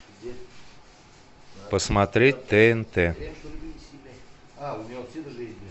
посмотреть тнт